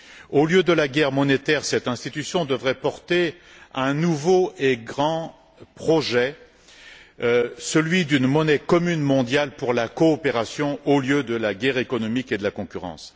Au lieu de la guerre monétaire, cette institution devrait porter un nouveau et grand projet celui d'une monnaie commune mondiale pour la coopération au lieu de la guerre économique et de la concurrence.